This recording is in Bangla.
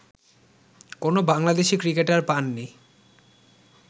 কোন বাংলাদেশি ক্রিকেটার পান নি